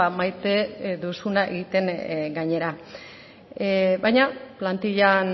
maite duzuna egiten gainera baina plantillan